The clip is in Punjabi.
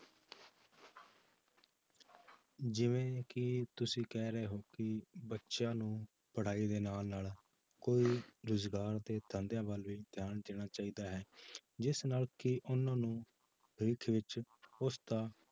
ਜਿਵੇਂ ਕਿ ਤੁਸੀਂ ਕਹਿ ਰਹੇ ਹੋ ਕਿ ਬੱਚਿਆਂ ਨੂੰ ਪੜ੍ਹਾਈ ਦੇ ਨਾਲ ਨਾਲ ਕੋਈ ਰੁਜ਼ਗਾਰ ਦੇ ਧੰਦਿਆਂ ਵੱਲ ਵੀ ਧਿਆਨ ਦੇਣਾ ਚਾਹੀਦਾ ਹੈ ਜਿਸ ਨਾਲ ਕਿ ਉਹਨਾਂ ਨੂੰ ਭਵਿੱਖ ਵਿੱਚ ਉਸਦਾ